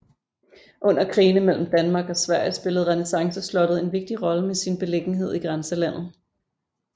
Under krigene mellem Danmark og Sverige spillede renæssanceslottet en vigtig rolle med sin beliggenhed i grænselandet